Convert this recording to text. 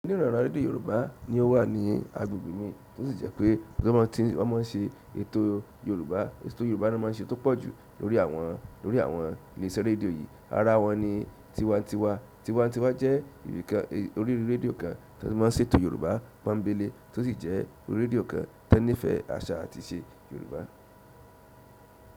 Níran-ǹran rédíò Yorùbá ni ó wà ní agbègbè mi, to sì jẹ́ pé tán bá ti, wọ́n máa ń ṣe ètò Yorùbá, ètò Yorùbá ni wọ́n máa ń ṣe tó pọ̀ jú lórí àwọn, lórí àwọn ilé iṣẹ́ rédíò yìí. Ara wọn ni Tiwa-n-Tiwa. Tiwa-n-Tiwa jẹ́ orí rédíò kan tán ti máa ń ṣètò Yorùbá pọ́ńbéle, to sì jẹ́ orí rédíò kan tó nífẹ̀ẹ́ àṣà àti ìṣe Yorùbá.